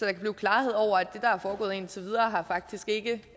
er blevet klarhed over at det der er foregået indtil videre faktisk ikke